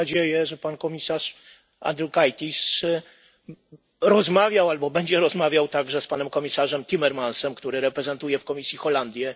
I mam nadzieję, że pan komisarz Andriukaitis rozmawiał albo będzie rozmawiał także z panem komisarzem Timmermansem, który reprezentuje w komisji Holandię.